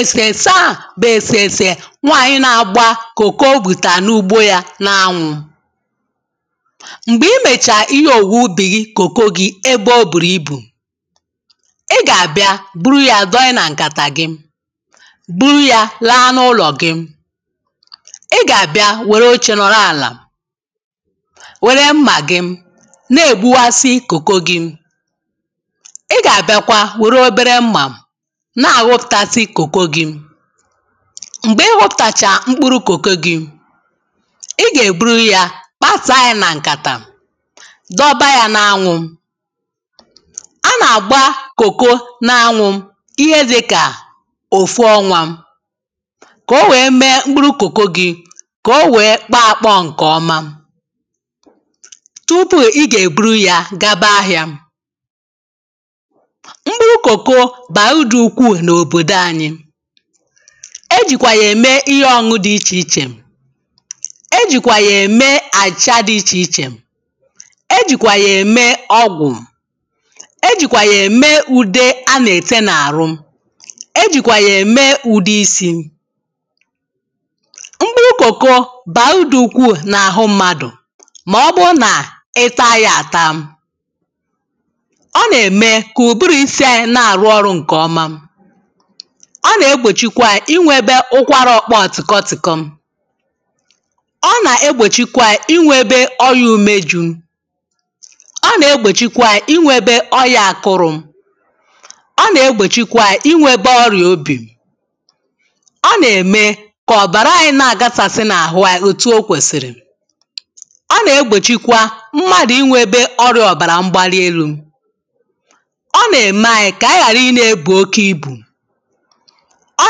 èsèèsè a bụ̀ èsèèsè nwaanyị̀ na-agba kòko o gbùtàa n’ugbo ya n’anwụ̇. m̀gbè imèchàà ihe òwùwè ubì gi kòkò gi ebe o bùrù ibù, ị gà-àbịa buru ya doye nà ǹkàtà gị buru ya laa n’ụlọ̀ gị. ị gà-àbịa wère oche nọrọ àlà wère mmà gị na-ègbuwasị kòkò gi na-ahụtazi cocoa gị mgbe ihụtacha mkpụrụ cocoa gị ị ga-eburu ya kpasaa anyị na nkata dọba ya n’anwụ a na-agba cocoa n’anwụ ihe dị ka ofu ọnwa ka o wee mee mkpụrụ cocoa gị ka o wee kpọọ akpọ nke ọma tupu i ga-eburu ya gaba ahịa[paues] mkpuru koko baa uru dị ukwuu n'obodo anyịé jìkwà yà-ème ihe ọñuñu dị̀ ichèichè, é jìkwà yà-ème àchị̀chà dị̀ ichèichè ,é jìkwà yà-ème ọgwụ̀,é jìkwà yà-ème ùde a na-ète n’àrụ é jìkwà yà-ème ùde isi̇. mkpụrụ kòko bàà udù ukwuu n’àhụ mmadụ̀ màọbụ̀ụ̀ nà ị ta ya àta.ọ na eme ka ụbụrụ isi anyị na arụ ọrụ nke ọma,ọ nà-egbòchikwe anyị inwėbe ụkwara okpò otìkọtìkọ ọ nà-egbòchikwe anyị inwėbe ọyà ume jụụ,ọ nà-egbòchikwe anyị inwėbė ọyà akụrụ̇, ọ nà-egbòchikwe anyị ịnwėbė ọrịà obì,ọ nà-ème kà ọ̀bàrà anyị na-àgasàsị n’àhụ anyị òtù ọkwèsìrì, ọ nà-egbòchikwa mmadụ̀ ịnwėbė ọrịà ọ̀bàrà mgbalielu̇. Ọ na eme Anyị ka Anyị ghara ina ebu oke ibu, ọ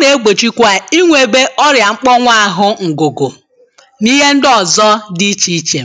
nà-egbòchikwa ànyi ịnwėbė ọrịà mkpọnwụ àhụ ǹgụ̀gụ̀ nà ihe ndi ọ̀zọ di ichèichè.